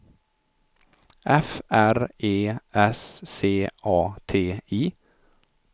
F R E S C A T I